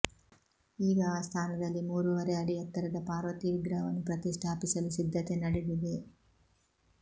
ಈಗ ಆ ಸ್ಥಾನದಲ್ಲಿ ಮೂರೂವರೆ ಅಡಿ ಎತ್ತರದ ಪಾರ್ವತಿ ವಿಗ್ರಹವನ್ನು ಪ್ರತಿಷ್ಠಾಪಿಸಲು ಸಿದ್ಧತೆ ನಡೆದಿದೆ